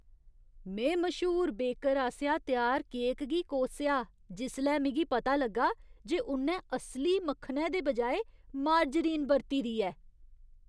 में मश्हूर बेकर आसेआ त्यार केक गी कोसेआ जिसलै मिगी पता लग्गा जे उ'न्नै असली मक्खनै दे बजाए मार्जरीन बरती दी ऐ।